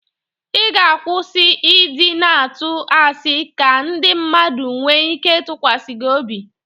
Ị ga-akwụsi ị dị na-atụ asị ka ndị mmadụ nwe ike ịtụkwasị gị obi.